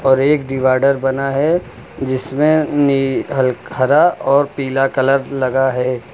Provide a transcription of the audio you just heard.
और एक डिवाइडर बना है जिसमें हरा और पीला कलर लगा है।